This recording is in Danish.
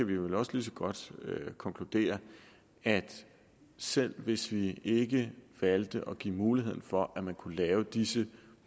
vi vel også lige så godt konkludere at selv hvis vi ikke valgte at give mulighed for at man kunne lave disse